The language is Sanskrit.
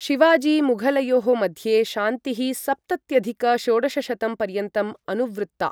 शिवाजी मुघलयोः मध्ये शान्तिः सप्तत्यधिक षोडशशतं पर्यन्तम् अनुवृत्ता।